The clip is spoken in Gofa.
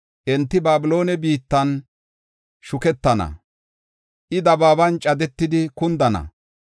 Enti Babiloone biittan shuketana; I dabaaban cadetidi kundana.